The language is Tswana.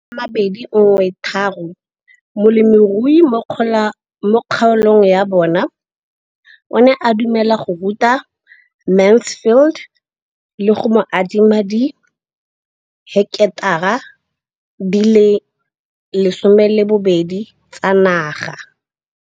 Ka ngwaga wa 2013, molemirui mo kgaolong ya bona o ne a dumela go ruta Mansfield le go mo adima di heketara di le 12 tsa naga.